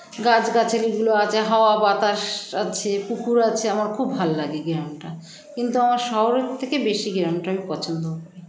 গাছগাছালি গুলো আছে হাওয়া বাতাস আছে পুকুর আছে আমার খুব ভাললাগে গ্রামটা কিন্তু আমার শহরের থেকে বেশি গ্রামটা আমি পছন্দ